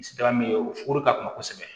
Sida min ye o fugɔri ka kunna kosɛbɛ